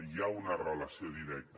hi ha una relació directa